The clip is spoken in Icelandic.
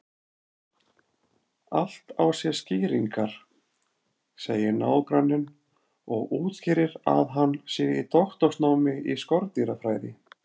Allt á sér skýringar, segir nágranninn og útskýrir að hann sé í doktorsnámi í skordýrafræði.